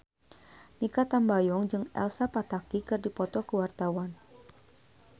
Mikha Tambayong jeung Elsa Pataky keur dipoto ku wartawan